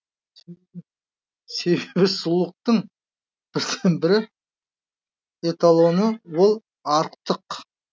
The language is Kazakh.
себебі сұлулықтың бірден бір эталоны ол арықтық